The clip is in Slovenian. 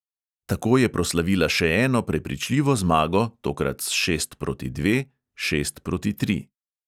Tako je proslavila še eno prepričljivo zmago, tokrat s šest proti dve, šest proti tri.